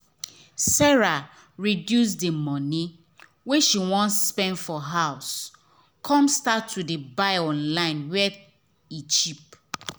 sarah reduce the money wey she wan spend for house come start to buy online where e cheap.